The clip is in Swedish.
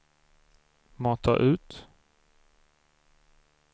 mata ut